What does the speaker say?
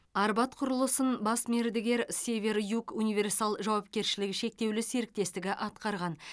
арбат құрылысын бас мердігер север юг универсал жауапкершілігі шектеулі серіктестігі атқарған